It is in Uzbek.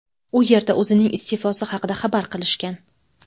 U yerda o‘zining iste’fosi haqida xabar qilishgan.